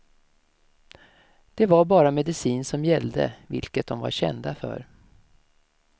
Det var bara medicin som gällde, vilket de var kända för.